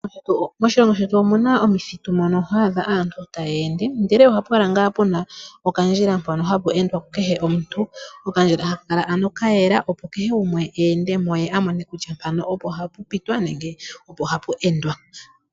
Moshilongo shetu omu na omithitu moka aantu haya ende, ihe ohapu kala ngaa pu na okandjila mpoka aantu ayehe haya ende. Okandjila haka kala ka yela, opo kehe gumwe a mone kutya mpoka opo hapu pitwa nenge opo hapu endwa.